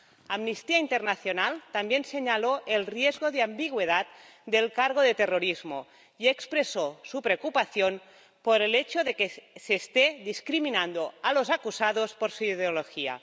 Amnistía Internacional también señaló el riesgo de ambigüedad del cargo de terrorismo y expresó su preocupación por el hecho de que se esté discriminando a los acusados por su ideología.